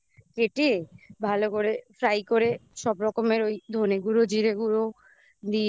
কেটে ভালো করে fry করে সব রকমের ওই ধনে গুঁড়ো, জিরে গুঁড়ো দিয়ে